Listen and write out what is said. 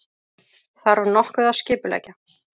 Þarf nokkuð að skipuleggja?